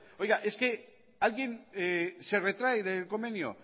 oiga es que alguien se retrae del convenio